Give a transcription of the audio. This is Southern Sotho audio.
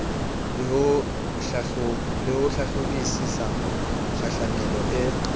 le ho hlahlobisisa kgahlamelo e